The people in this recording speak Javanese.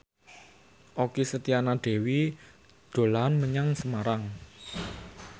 Okky Setiana Dewi dolan menyang Semarang